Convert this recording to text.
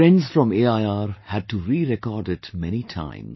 Friends from AIR had to rerecord it many times